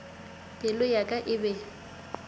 pelo ya ka e be